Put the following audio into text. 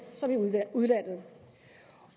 som i udlandet